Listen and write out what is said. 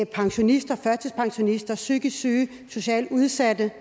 pensionister førtidspensionister psykisk syge socialt udsatte